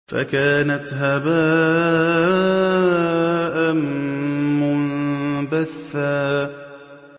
فَكَانَتْ هَبَاءً مُّنبَثًّا